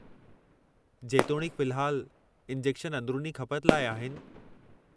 जेतोणीकि, फ़िल्हालु, इंजेक्शन अंदरूनी खपत लाइ आहिनि।